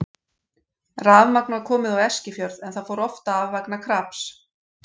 Rafmagn var komið á Eskifjörð en það fór oft af vegna kraps.